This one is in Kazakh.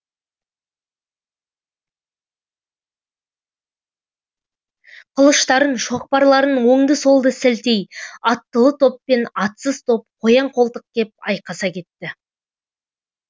қылыштарын шоқпарларын оңды солды сілтей аттылы топ пен атсыз топ қоян қолтық кеп айқаса кетті